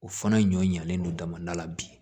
O fana ɲɔ ɲanen don damada la bi